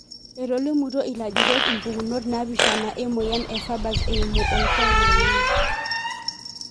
Etolimutuo ilajurok impukunot napishana emoyian e farber's eimu olkuak lenye.